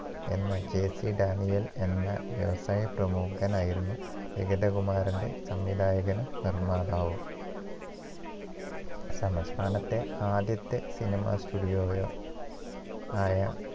എന്ന JC ഡാനിയേൽ എന്ന വ്യവസായ പ്രമുഖൻ ആയിരുന്നു വിഗതകുമാരന്റെ സംവിധായകനും നിർമാതാവും അത് അവസാനത്തെ ആദ്യത്തെ സിനിമ studio യോ ആയ